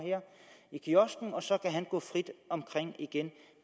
i kiosken og så kan han gå frit omkring igen